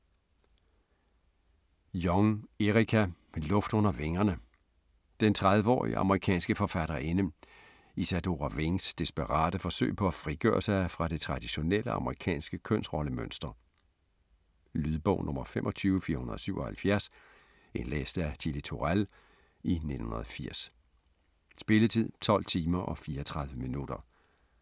Jong, Erica: Luft under vingerne Den 30-årige amerikanske forfatterinde Isadora Wings desperate forsøg på at frigøre sig fra det traditionelle amerikanske kønsrollemønster. Lydbog 25477 Indlæst af Chili Turèll, 1980. Spilletid: 12 timer, 34 minutter.